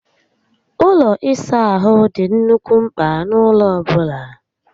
Ụlọ ịsa ahụ dị nnukwu mpka n'ụlọ ọbụla